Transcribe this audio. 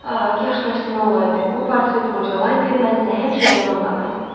Ah, kaş tərsinə olaydı, bu portret qocalaydı, mən isə həmişə cavan qalardım.